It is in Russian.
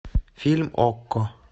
фильм окко